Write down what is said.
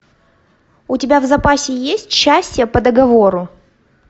у тебя в запасе есть счастье по договору